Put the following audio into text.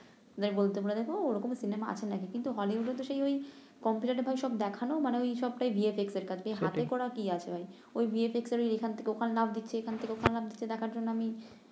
ওদের বলতে বলে দেখ ওরকম সিনেমা আছে নাকি কিন্তু হলিউডে তো সেই ঐ কম্পিউটারে ভাই সব দেখানো মানে ঐ সবটাই ভি এফ এক্স এর কাজ ঐ হাতে করা কি আছে আর ঐ ভি এফ এক্স এর ঐ এখান থেকে ওখানে লাফ দিচ্ছে এখান থেকে ওখানে লাফ দিচ্ছে দেখার জন্য আমি